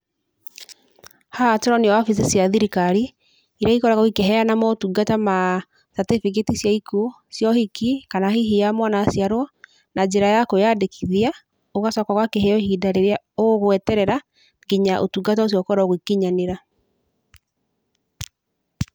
Haha tũronio wabici cia thirikari, iria ikoragwo ikĩheana motungata ma certificate cia ikuũ, cia ũhiki kana hihi ya mwana aciarũo na njĩra ya kwĩyandĩkithia, ũgacoka ũgakĩheo ihinda rĩrĩa ũgweterera nginya ũtungata ũcio ũkorũo ũgĩkinyanĩra.